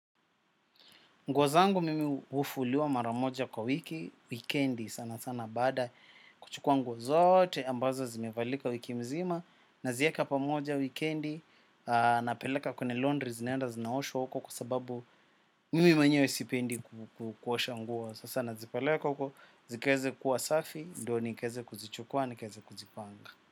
Nguo zangu mimi hufuliwa mara moja kwa wiki, wikendi sana sana baada kuchukua nguo zote ambazo zimevalika wiki mzima nazieka pamoja wikendi napeleka kwenye laundry zinaenda zinaoshwa huko kwa sababu mimi mwenyewe sipendi kuosha nguo. Sasa nazipeleka huko, zikaeze kuwa safi, ndio nikaeze kuzichukua, nikaeze kuzipanga.